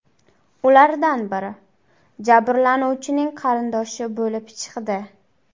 Ulardan biri jabrlanuvchining qarindoshi bo‘lib chiqdi.